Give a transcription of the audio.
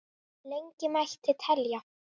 Lengi mætti telja.